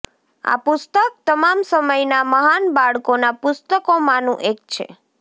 આ પુસ્તક તમામ સમયના મહાન બાળકોના પુસ્તકોમાંનું એક છે